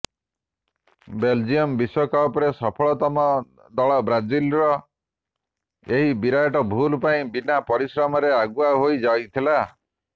Belgium ବିଶ୍ୱକପର ସଫଳତମ ଦଳ ବ୍ରାଜିଲର ଏହି ବିରାଟ ଭୁଲ ପାଇଁ ବିନା ପରିଶ୍ରମରେ ଆଗୁଆ ହୋଇ ଯାଇଥିଲା